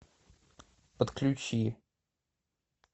подключи